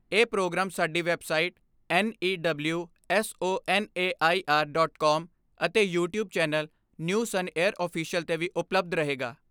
ਇਹ ਪ੍ਰੋਗਰਾਮ ਸਾਡੀ website 'news on air official' 'ਤੇ ਵੀ ਉਪਲੱਬਧ ਰਹੇਗਾ।